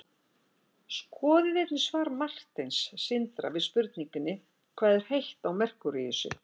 skoðið einnig svar marteins sindra við spurningunni hvað er heitt á merkúríusi